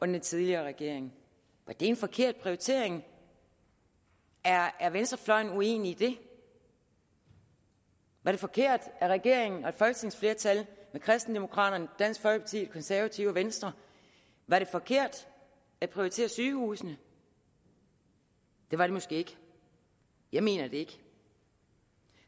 den tidligere regering var det en forkert prioritering er er venstrefløjen uenig i det var det forkert af regeringen og et folketingsflertal med kristendemokraterne dansk folkeparti konservative og venstre var det forkert at prioritere sygehusene det var det måske ikke jeg mener det ikke